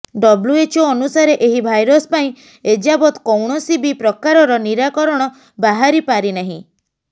WHO ଅନୁସାରେ ଏହି virus ପାଇଁ ଏଯାବତ୍ କୌଣସି ବି ପ୍ରକାରର ନିରାକରଣ ବାହାରି ପାରିନାହିଁ